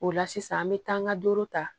O la sisan an bɛ taa an ka duuru ta